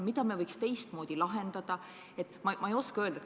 Mida me võiks teistmoodi lahendada?